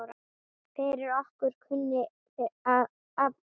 Fyrir okkur kunni afi allt.